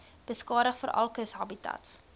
beskadig veral kushabitats